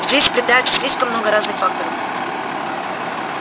здесь сплетается слишком много разных факторов